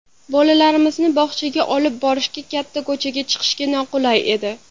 Bolalarimizni bog‘chaga olib borishga, katta ko‘chaga chiqishga noqulay edi.